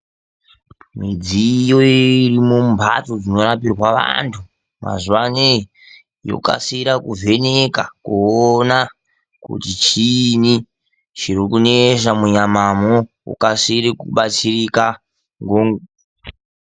Midziyo irimo mumhatso dzinorapirwa vantu, mazuwa ano yokasira kuvheneka kuona kuti chiini chirikunesa munyama mwo. Ukasire kubatsirika ngonguwa